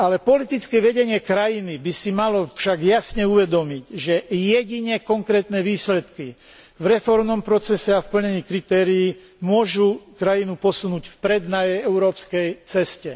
Politické vedenie krajiny by si však malo jasne uvedomiť, že jedine konkrétne výsledky v reformnom procese a v plnení kritérií môžu krajinu posunúť vpred na jej európskej ceste.